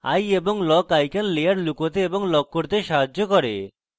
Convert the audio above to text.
eye এবং lock icons layer লুকাতে এবং lock করতে সাহায্য করে